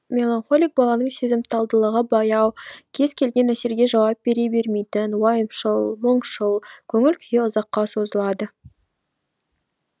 меланхолик баланың сезімталдылығы баяу кез келген әсерге жауап бере бермейтін уайымшыл мұңшыл көңіл күйі ұзаққа созылады